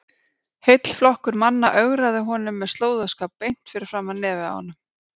Heill flokkur manna ögraði honum með slóðaskap beint fyrir framan nefið á honum!